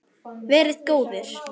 Verið góðir!